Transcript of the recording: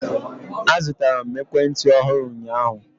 Azụtara m ekwentị ọhụrụ ụnyaahụ.